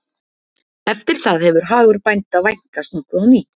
eftir það hefur hagur bænda vænkast nokkuð á ný